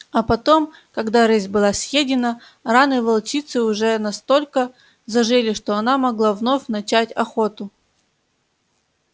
а потом когда рысь была съедена раны волчицы уже настолько зажили что она могла вновь начать охоту